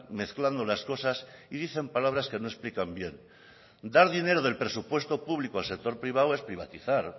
mezclando las cosas y dicen palabras que no explican bien dar dinero del presupuesto público al sector privado es privatizar